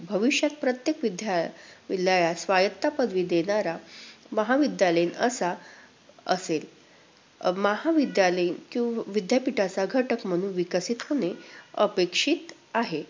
तसेच भविष्यात प्रत्येक विद्यालयास स्वायत्ता पदवी देणारा महाविद्यालयीन असा असेल. अं महाविद्यालयीन विद्यापीठाचा घटक म्हणुन विकसित अपेक्षित आहे.